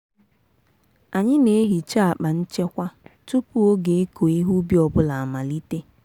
anyị na-ehicha akpa nchekwa tupu oge ịkụ ihe ubi ọ bụla amalite.